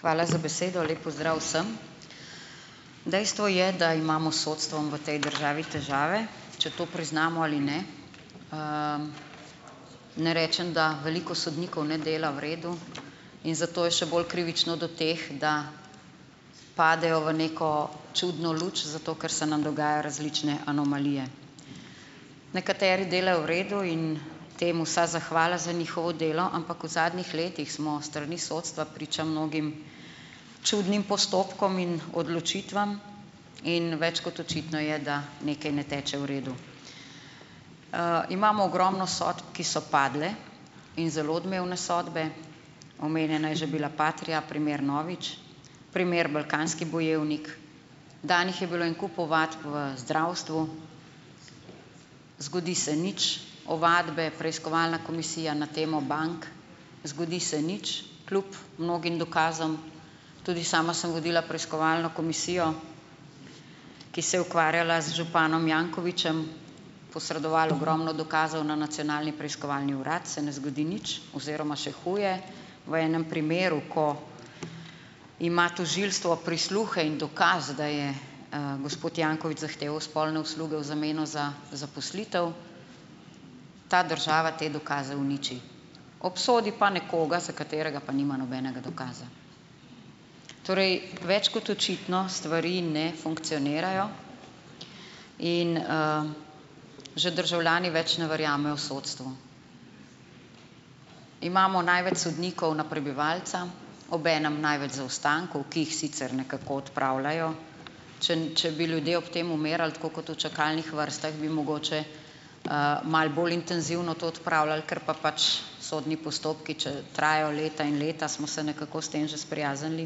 Hvala za besedo, lepo pozdrav vsem. Dejstvo je, da imamo sodstvom v tej državi težave, če to priznamo ali ne, ne rečem, da veliko sodnikov ne dela v redu, in zato je še bolj krivično do teh, da padejo v neko čudno luč, zato ker se nam dogajajo različne anomalije, nekateri delajo v redu in tem vsa zahvala za njihovo delo, ampak v zadnjih letih smo s strani sodstva priča mnogim čudnim postopkom in odločitvam, in več kot očitno je, da nekaj ne teče v redu, imamo ogromno sodb, ki so padle, in zelo odmevne sodbe, omenjena je že bila Patria, primer Novič, primer Balkanski bojevnik, danih je bilo en kup ovadb v zdravstvu, zgodi se nič, ovadbe preiskovalna komisija na temo bank, zgodi se nič, kljub mnogim dokazom, tudi sama sem vodila preiskovalno komisijo, ki se ukvarjala z županom Jankovićem, posredoval ogromno dokazov na Nacionalni preiskovalni urad, se ne zgodi nič oziroma še huje, v enem primeru, ko ima tožilstvo prisluhe in dokaz, da je gospod Janković zahteval spolne usluge v zameno za zaposlitev, ta država te dokaze uniči, obsodi pa nekoga, za katerega pa nima nobenega dokaza, torej več kot očitno stvari ne funkcionirajo, in, že državljani več ne verjamejo v sodstvo. Imamo največ sodnikov na prebivalca, obenem največ zaostankov, ki jih sicer nekako odpravljajo, če če bi ljudje umirali tako kot v čakalnih vrstah, bi mogoče malo bolj intenzivno to odpravljali, ker pa pač sodni postopki, če trajajo leta in leta, smo se nekako s tem že sprijaznili,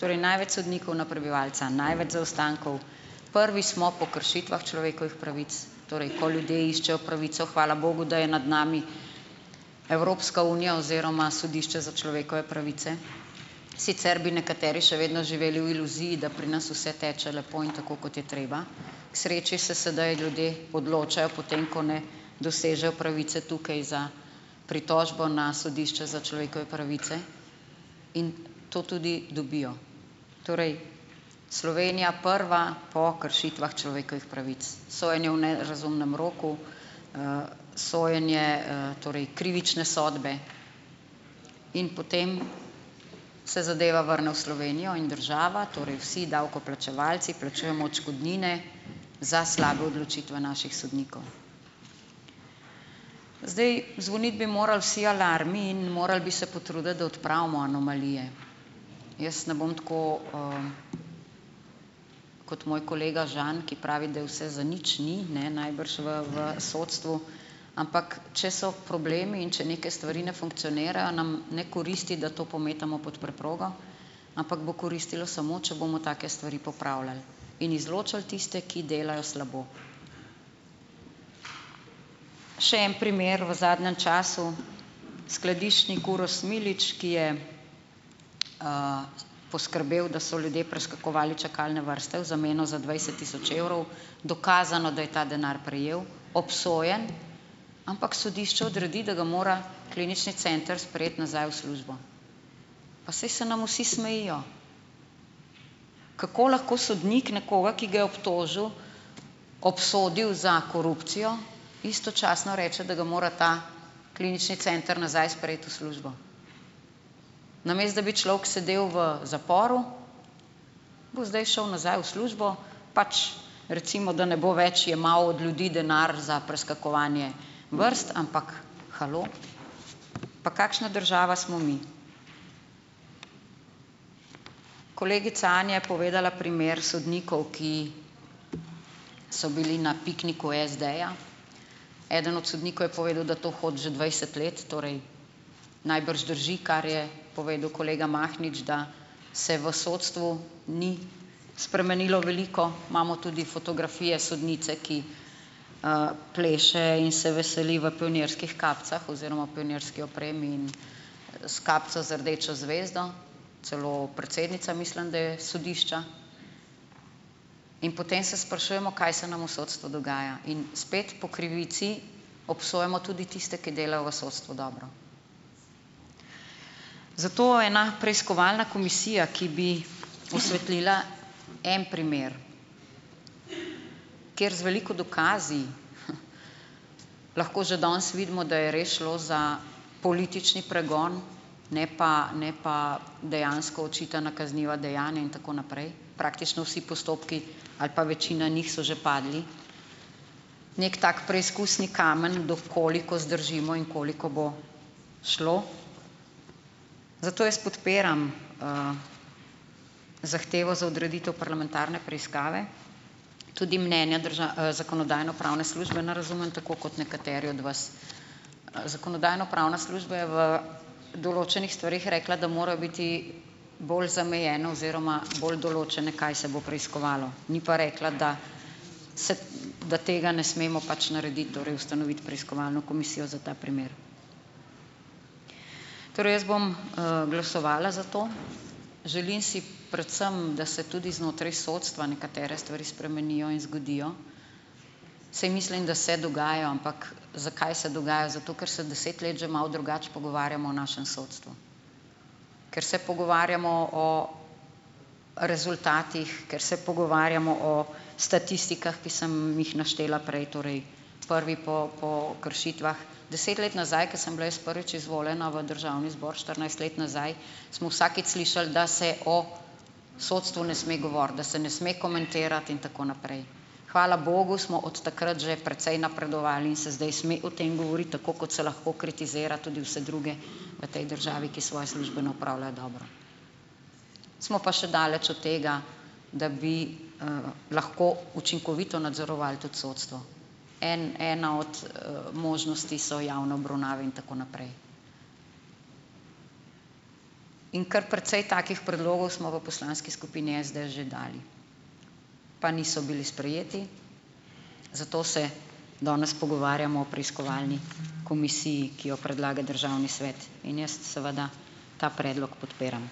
torej največ sodnikov na prebivalca, največ zaostankov, prvi smo kršitvah človekovih pravic, torej ko ljudje iščejo pravico, hvala bogu, da je nad nami Evropska unija oziroma sodišče za človekove pravice, sicer bi nekateri še vedno živeli v iluziji, da pri nas vse teče lepo in tako, kot je treba, k sreči se sedaj ljudje odločajo potem, ko ne dosežejo pravice tukaj za pritožbo na sodišče za človekove pravice, in to tudi dobijo, torej Slovenija prva po kršitvah človekovih pravic, sojenje v nerazumnem roku, sojenje, torej krivične sodbe, in potem se zadeva vrne v Slovenijo in država, torej vsi davkoplačevalci, plačujemo odškodnine za slabe odločitve naših sodnikov, zdaj, zvoniti bi morali vsi alarmi in morali bi se potruditi, da odpravimo anomalije, jaz ne bom tako, kot moj kolega Žan, ki pravi, da je vse zanič, ni ne, najbrž v v sodstvu, ampak če so problemi in če neke stvari ne funkcionirajo, nam ne koristi, da to pometamo pod preprogo, ampak bo koristilo samo, če bomo take stvari popravljali in izločali tiste, ki delajo slabo, še en primer v zadnjem času. Skladiščnik Uroš Smiljić, ki je, poskrbel, da so ljudje preskakovali čakalne vrste v zameno za dvajset tisoč evrov, dokazano, da je ta denar prejel, obsojen, ampak sodišče odredi, da mora klinični center sprejeti nazaj v službo, pa saj se nam vsi smejijo. Kako lahko sodnik nekoga, ki ga je obtožil, obsodil za korupcijo, istočasno reče, da ga mora ta klinični center nazaj sprejeti v službo? Namesto da bi človek sedel v zaporu, bo zdaj šel nazaj v službo, pač, recimo, da ne bo več jemal od ljudi denar za preskakovanje vrst, ampak, halo, pa kakšna država smo mi? Kolegica Anja je povedala primer sodnikov, ki so bili na pikniku SD-ja, eden od sodnikov je povedal, da to hodi že dvajset let, torej najbrž drži, kar je povedal kolega Mahnič, da se v sodstvu ni spremenilo veliko, imamo tudi fotografije sodnice, ki, pleše in se veseli v pionirskih kapicah oziroma pionirski opremi in s kapico z rdečo zvezdo, celo predsednica, mislim, da je sodišča, in potem se sprašujemo, kaj se nam v sodstvu dogaja, in spet po krivici obsojamo tudi tiste, ki delajo v sodstvu dobro, zato je ena preiskovalna komisija, ki bi posvetlila en primer, ker z veliko dokazi lahko že danes vidimo, da je res šlo za politični pregon, ne pa, ne pa dejansko očitana kazniva dejanja in tako naprej, praktično vsi postopki ali pa večina njih so že padli, neki tak preizkusni kamen, do koliko zdržimo in koliko bo šlo, zato jaz podpiram, zahtevo za odreditev parlamentarne preiskave, tudi mnenja zakonodajno-pravne službe ne razumem tako kot nekateri od vas, zakonodajno-pravna služba je v določenih stvareh rekla, da mora biti bolj zamejeno oziroma bolj določeno, kaj se bo preiskovalo, ni pa rekla, da se, da tega ne smemo pač narediti, torej ustanoviti preiskovalno komisijo za ta primer, torej jaz bom, glasovala za to, želim si predvsem, da se tudi znotraj sodstva nekatere stvari spremenijo in zgodijo, saj mislim, da se dogajajo. Ampak zakaj se dogaja? Zato ker se deset let že malo drugače pogovarjamo o našem sodstvu, ker se pogovarjamo o rezultatih, ker se pogovarjamo o statistikah, ki sem jih naštela prej, torej prvi po po kršitvah, deset let nazaj, ko sem bila jaz prvič izvoljena v državni zbor štirinajst let nazaj, smo vsakič slišali, da se o sodstvu ne sme govoriti, da se ne sme komentirati in tako naprej, hvala bogu, smo od takrat že precej napredovali in se zdaj sme o tem govoriti, tako kot se lahko kritizira tudi vse druge v tej državi, ki svoje službe ne opravljajo dobro, smo pa še daleč od tega, da bi, lahko učinkovito nadzorovali tudi sodstvo, en ena od, možnosti so javne obravnave in tako naprej, in kar precej takih predlogov smo v poslanski skupini SDS že dali, pa niso bili sprejeti, zato se danes pogovarjamo o preiskovalni komisiji, ki jo predlaga državni svet, in jaz seveda ta predlog podpiram.